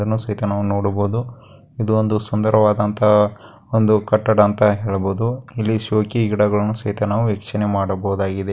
ಇದನ್ನು ಸಹಿತ ನಾವು ನೋಡಬಹುದು. ಇದು ಒಂದು ಸುಂದರವಾದಂತಹ ಒಂದು ಕಟ್ಟಡ ಅಂತ ಹೇಳಬಹುದು. ಇಲ್ಲಿ ಶೋಕಿ ಗಿಡಗಲ್ಲನು ಸಹಿತ ನಾವು ವೀಕ್ಷಣೆ ಮಾಡಬಹದಾಗಿದೆ.